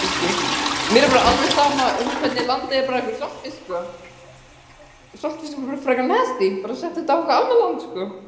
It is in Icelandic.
Ásgrímur Ingi: En hafa verulegar birgðir safnast upp í landinu af saltfiski?